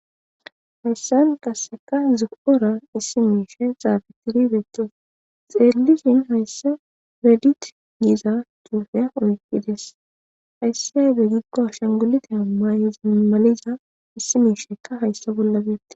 Hayisan qasika zo,ora issi mishayi xafetidi betes xelishin hayisa redit gida xufe oyikides hayisan besiyaba gidiko ashengulite ayinete mayiza issi mishaka hayisa bollan betees